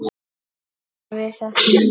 gera við þessa menn?